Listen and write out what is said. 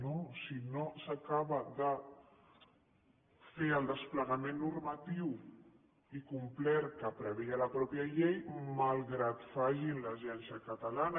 no si no s’acaba de fer el desplegament normatiu i complet que preveia la mateixa llei malgrat que facin l’agència catalana